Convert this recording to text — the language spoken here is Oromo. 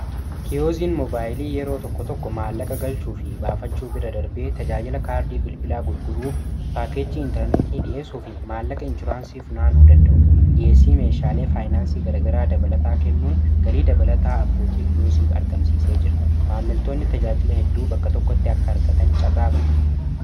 kiyooziin mobaayilii yeroo tokko tokko maallaqa galchuu fi baafachuu bira darbee tajaajila kaardii bilbilaa gurguruu paakeejii intarneetii dhiesuu fi maallaqa inshuraansii funaanuu danda'u dhis meeshaalee faayinaansii garagaraa dabalataa kennuun galii dabalataa abbootii kiyosiif argamsiisee jira maammiltoonni tajaajila hedduu bakka tokkotti akka argatan carraabana